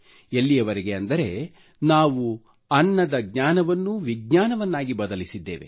ಎಲ್ಲಿಯವರೆಗೆ ಅಂದರೆ ನಾವು ಅನ್ನದ ಜ್ಞಾನವನ್ನೂ ವಿಜ್ಞಾನವಾಗಿ ಬದಲಿಸಿದ್ದೇವೆ